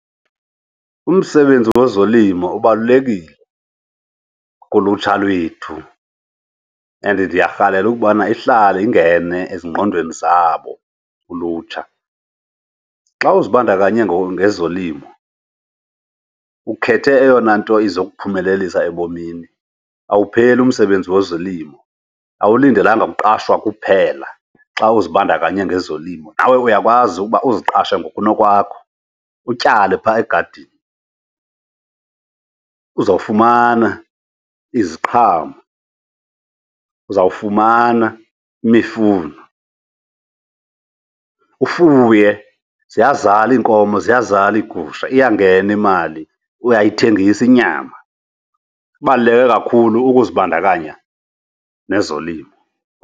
Umsebenzi wezolimo ubalulekile kulutsha lwethu and ndiyarhalela ukubana ihlale ingene ezingqondweni zabo ulutsha. Xa uzibandakanye ngezolimo ukhethe eyona nto izokuphumelelisa ebomini, awupheleli umsebenzi wezolimo. Awulindelanga kuqashwa kuphela xa uzibandakanye nezolimo, nawe uyakwazi ukuba uziqashe ngokunokwakho utyale phaa egadini. Uzawufumana iziqhamo, uzawufumana imifuno, ufuye. Ziyazala iinkomo, ziyazala iigusha iyangena imali, uyayithengisa inyama. Kubaluleke kakhulu ukuzibandakanya nezolimo.